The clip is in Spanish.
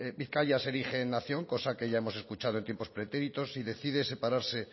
bizkaia se erige nación cosa que ya hemos escuchando en tiempos pretéritos y decide separarse